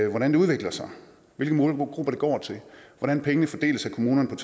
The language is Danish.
i hvordan det udvikler sig hvilke målgrupper det går til og hvordan pengene fordeles af kommunerne